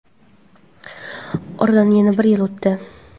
Oradan yana bir yil o‘tdi.